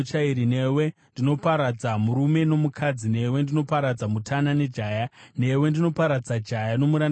newe ndinoparadza murume nomukadzi, newe ndinoparadza mutana nejaya, newe ndinoparadza jaya nomurandakadzi,